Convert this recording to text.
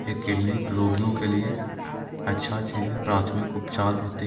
ये क्लिनिक रोगियों के लिए अच्छा सी है प्रतमिक उपचार होते--